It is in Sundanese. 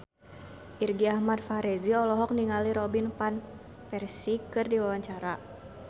Irgi Ahmad Fahrezi olohok ningali Robin Van Persie keur diwawancara